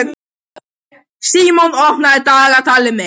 Sigurmon, opnaðu dagatalið mitt.